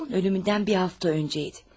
Atamın ölümündən bir həftə əvvəl idi.